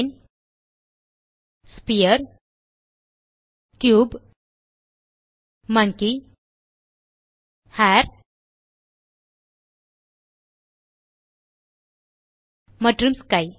plane sphere cube monkey hair மற்றும் sky